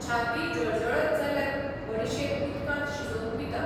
छाती जळजळत जाल्यार बडिशेप उदकांत शिजोवन पिता